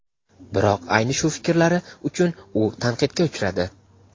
Biroq ayni shu fikrlari uchun u tanqidga uchradi.